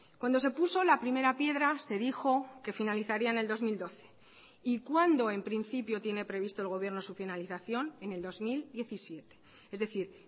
cuando se puso la primera piedra se dijo que finalizaría en el dos mil doce y cuando en principio tiene previsto el gobierno su finalización en el dos mil diecisiete es decir